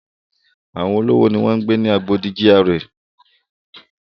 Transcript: Àwọn olówó ni ó ń gbé ni Agodi GRA.